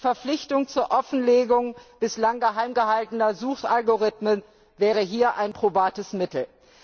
Die Verpflichtung zur Offenlegung bislang geheim gehaltener Suchalgorithmen wäre hier ein probates Mittel.